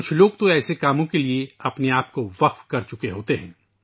کچھ لوگوں نے ایسے کاموں کے لیے اپنے آپ کو وقف کرچکے ہیں